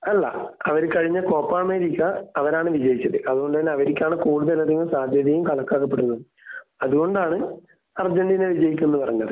അല്ല അവര് കഴിഞ്ഞ കോപ്പാമേരിക്ക അവരാണ് വിജയിച്ചത്. അത് കൊണ്ട് തന്നെ അവർക്കാണ് കൂടുതൽ അധികം സാധ്യതയും കണക്കാക്കപ്പെടുന്നത്. അത് കൊണ്ടാണ് അർജന്റീന വിജയിക്കും എന്ന് പറഞ്ഞത്